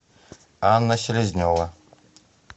анна селезнева